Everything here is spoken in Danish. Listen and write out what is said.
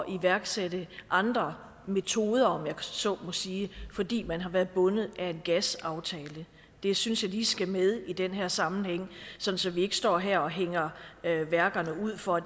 iværksætte andre metoder om jeg så må sige fordi man har været bundet af en gasaftale det synes jeg lige skal med i den her sammenhæng så så vi ikke står her og hænger værkerne ud for at